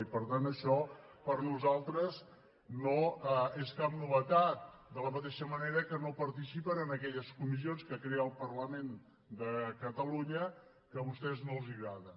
i per tant això per a nosaltres no és cap novetat de la mateixa manera que no participen en aquelles comissions que crea el parlament de catalunya que a vostès no els agraden